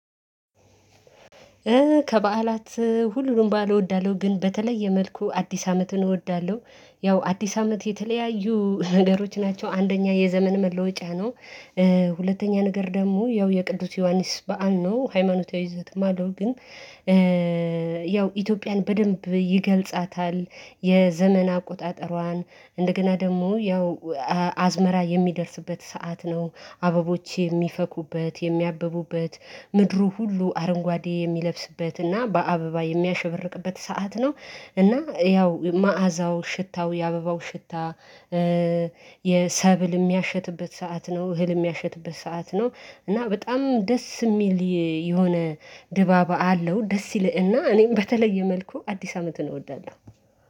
ከበዓላት ሁሉንም በዓል እወዳለሁ ግን በተለየ መልኩ አዲስ አመትን እወዳለሁ ያው አዲስ አመት የተለያዩ ነገሮች ናቸው አንደኛ የዘመን መለወጫ ነው። ሁለተኛ ነገር ደግሞ ያው የቅዱስ ዮሐንስ በዓል ነው ሃይማኖታዊ ይዘትም አለው ግን ያው ኢትዮጵያን በደንብ ይገልጻታል። የዘመን አቆጣጠሯን እንደገና ደግሞ ያው አዝመራ የሚደርስበት ሰዓት ነው አበቦች የሚፈኩበት የሚያብቡበት ምድሩ ሁሉ አረንጓዴ የሚለብስበት እና በአበባ የሚያሸበርቅበት ሰዓት ነው። እና ያው መዓዛው ሽታው የአበባው ሽታ የሰብል የሚያሸትበት ሰዓት ነው እህል የሚያሸትበት ሰዓት ነው። እና በጣም ደስ የሚል የሆነ ድባብ አለው ደስ ይልህና እኔም በተለየ መልኩ አዲስ አመት ነው እወደዳለሁ።